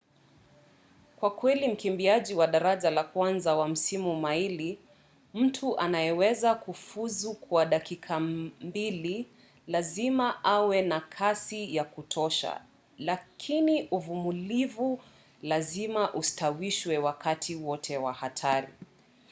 kwa kweli mkimbiaji wa daraja la kwanza wa nusu maili mtu anayeweza kufuzu kwa dakika mbili lazima awe na kasi ya kutosha lakini uvumilivu lazima ustawishwe wakati wote wa hatari